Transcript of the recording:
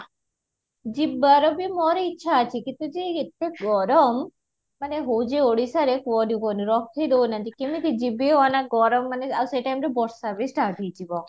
ଯିବାର ବି ମୋର ଇଛା ଅଛି କିନ୍ତୁ ଯେ ଏତେ ଗରମ ମାନେ ହଉଚି ଓଡ଼ିଶାରେ କୁହନି କୁହନି ରଖି ଦେଉନାହାନ୍ତି କେମିତି ଯିବି ଏ ଗରମ ମାନେ ଆଉ ସେଇ time ରେ ବର୍ଷା ବି start ହେଇଯିବ